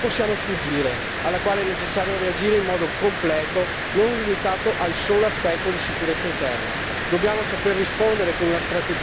La lotta al terrorismo è una sfida alla quale non possiamo sfuggire, alla quale è necessario reagire in modo completo, non limitato al solo aspetto di sicurezza interna.